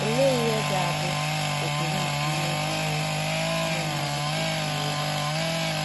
Olee ihe ga - abụ ụkpụrụ nke ihe ziri ezi ụmụ mmadụ kwesịrị ịgbaso?